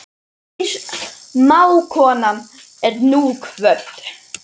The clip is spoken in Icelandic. Kær mágkona er nú kvödd.